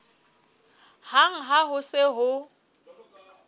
hang ha ho se ho